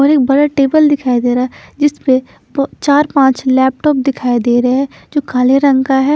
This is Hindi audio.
और एक बड़ा टेबल दिखाई दे रहा है जिस पे प चार पांच लैपटॉप दिखाई दे रहे है जो काले रंग का है।